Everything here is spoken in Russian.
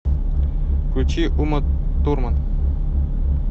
включи уматурман